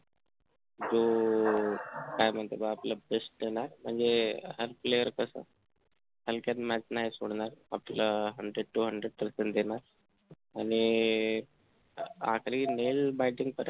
हो हो काय म्हणता मग आपलं best देणार म्हणजे player हलक्यात match नाही सोडणार आपलं hundred two hundred percent देणार आणि आखरी nail batting पर्यंत